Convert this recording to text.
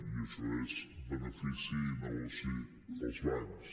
i això és benefici i negoci per als bancs